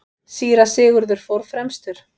Síra Sigurður fór fremstur.